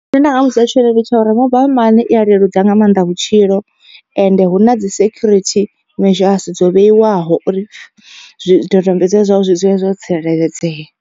Zwine nda nga muvhudza tshone ndi tsha uri mobile money i a leludza nga maanḓa vhutshilo. Ende hu na dzi security measures dzo vheiwaho uri zwidodombedzwa zwau zwi dzule zwo tsireledzea.